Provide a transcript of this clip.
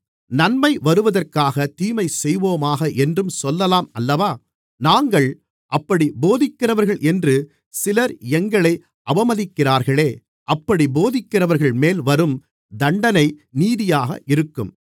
நன்மை வருவதற்காகத் தீமைசெய்வோமாக என்றும் சொல்லலாம் அல்லவா நாங்கள் அப்படிப் போதிக்கிறவர்கள் என்றும் சிலர் எங்களை அவமதிக்கிறார்களே அப்படிப் போதிக்கிறவர்கள்மேல் வரும் தண்டனை நீதியாக இருக்கும்